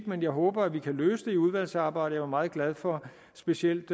men jeg håber at vi kan løse det i udvalgsarbejdet jeg var meget glad for specielt